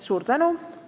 Suur tänu!